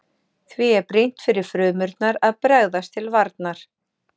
Því er brýnt fyrir frumurnar að bregðast til varnar.